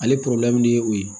Ale ye o ye